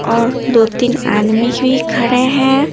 और दो-तीन आदमी भी खड़े हैं।